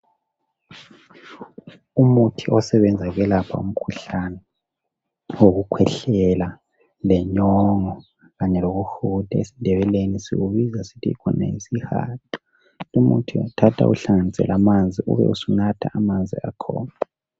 Umuthi osebenza ukwelapha umkhuhlane wokukhwehlela, lenyongo kanye lokuhuda esindebeleni sikubiza sithi khona yisihaqa. Umuthi uyawuthatha uwuhlanganise lamanzi ube usunatha amanzi akhona.